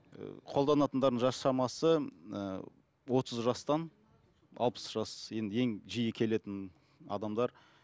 қолданатындардың жас шамасы ыыы отыз жастан алпыс жас енді ең жиі келетін адамдар